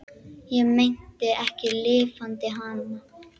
Ég meinti ekki LIFANDI HANA.